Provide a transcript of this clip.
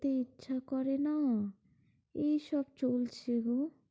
খেতে ইচ্ছা করে না। এইসব চলছে গো।